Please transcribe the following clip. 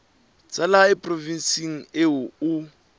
tsa lehae provinseng eo o